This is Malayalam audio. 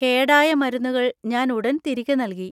കേടായ മരുന്നുകൾ ഞാൻ ഉടൻ തിരികെ നൽകി.